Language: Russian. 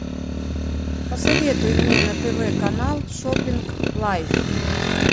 посоветуй мне на тв канал шоппинг лайф